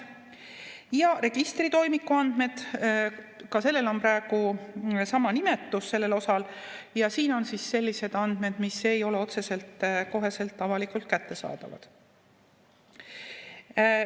registritoimiku andmed, ka sellel osal on praegu sama nimetus, ja siin on siis sellised andmed, mis ei ole otseselt kohe avalikult kättesaadavad.